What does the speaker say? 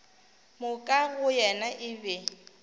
moka go yena e be